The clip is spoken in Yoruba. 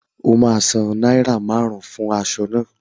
O ma san náírà márùn-ún fún aṣọ náà